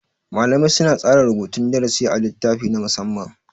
Malamai suna tsara rubutun darasi a littafi na musamma.